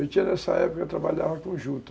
Eu tinha, nessa época, eu trabalhava